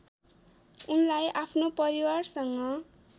उनलाई आफ्नो परिवारसँग